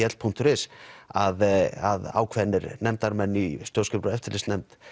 l punktur is að ákveðnir nefndarmenn í stjórnskipunar og eftirlitsnefnd